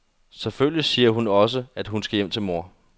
Selvfølgelig siger hun også, at hun skal hjem til mor.